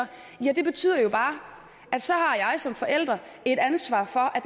ja det betyder bare at så har jeg som forælder et ansvar for at